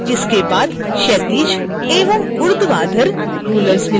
इसके बाद क्षैतिज एवं ऊर्ध्वाधर rulers मिलते हैं